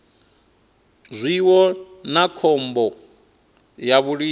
zwiwo na khombo ya vhulimi